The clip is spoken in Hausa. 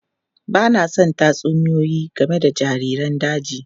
Ba na son tatsuniyoyi game da jariran daji.